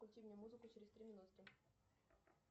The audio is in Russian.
включи мне музыку через три минутки